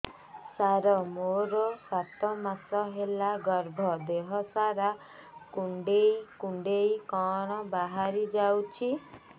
ସାର ମୋର ସାତ ମାସ ହେଲା ଗର୍ଭ ଦେହ ସାରା କୁଂଡେଇ କୁଂଡେଇ କଣ ବାହାରି ଯାଉଛି